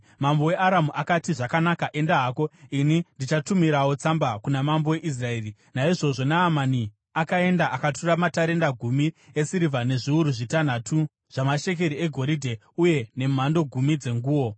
Mambo weAramu akati, “Zvakanaka, enda hako. Ini ndichatumirawo tsamba kuna mambo weIsraeri.” Naizvozvo Naamani akaenda, akatora matarenda gumi esirivha nezviuru zvitanhatu zvamashekeri egoridhe uye nemhando gumi dzenguo.